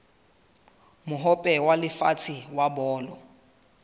mohope wa lefatshe wa bolo